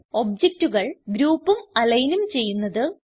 ഒബ്ജക്റ്റുകൾ group align ചെയ്യുന്നത്